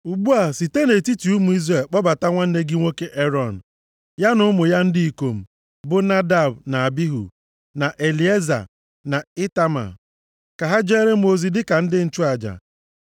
“Ugbu a, site nʼetiti ụmụ Izrel kpọbata nwanne gị nwoke Erọn, ya na ụmụ ya ndị ikom, bụ Nadab, na Abihu, na Elieza na Itama. Ka ha jeere m ozi dịka ndị nchụaja.